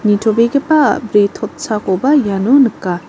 nitobegipa a·bri totsakoba iano nika.